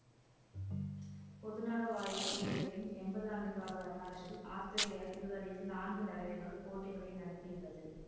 பொதுநலவாய போட்டிகளின் எம்பது ஆண்டு கால வரலாற்றில் ஆஸ்திரேலியா இதுவரையில் நான்கு தடவைகள் போட்டிகளை நடத்தியுள்ளது